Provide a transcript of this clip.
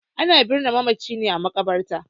Ana binne mamaci ne a maƙabarta.